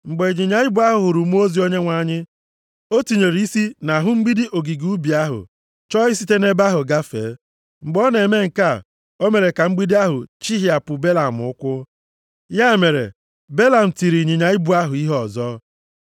Mgbe ịnyịnya ibu ahụ hụrụ mmụọ ozi Onyenwe anyị, o tinyere isi nʼahụ mgbidi ogige ubi ahụ, chọọ isite nʼebe ahụ gafee. Mgbe ọ na-eme nke a, o mere ka mgbidi ahụ chihịapụ Belam ụkwụ. Ya mere Belam tiri ịnyịnya ibu ahụ ihe ọzọ.